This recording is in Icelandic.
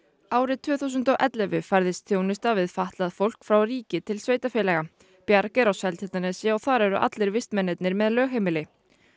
árið tvö þúsund og ellefu færðist þjónusta við fatlað fólk frá ríki til sveitarfélaga bjarg er á Seltjarnarnesi og þar eru allir vistmennirnir með lögheimili